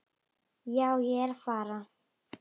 Já, ég er að fara.